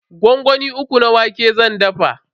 Gwangwami uku na wake zan dafa.